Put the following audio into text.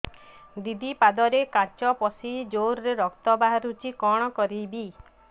ଦିଦି ପାଦରେ କାଚ ପଶି ଜୋରରେ ରକ୍ତ ବାହାରୁଛି କଣ କରିଵି